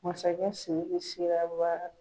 Masakɛ Sidiki sera